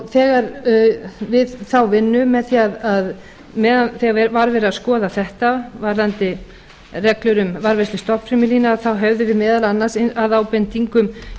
þegar við þá vinnu meðan var verið að skoða þetta varðandi reglur um varðveislu stofnfrumulína þá höfðum við meðal annars að ábendingum